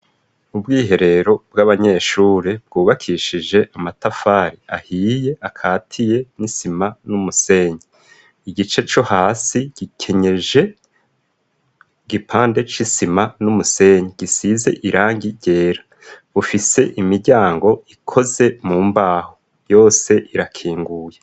Inyubako y'ishure igeretse rimwe yubatse mu matafari aturiye akatiye n'isima n'umusenyi isakaje amabati mu bwugamo bw'inzu yo hasi hari abanyeshure bari mu mwambaro w'ishure bariko baratambuka haruguru yabo hari uwundi munyeshure ari mu mwambaro w'ishure yambaye n'umupira w'imbeho.